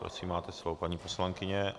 Prosím, máte slovo, paní poslankyně.